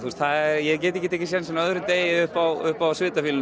ég get ekki tekið sénsinn á öðrum degi upp á upp á